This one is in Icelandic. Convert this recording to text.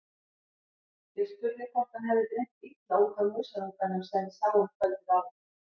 Ég spurði hvort hann hefði dreymt illa út af músarunganum sem við sáum kvöldið áður.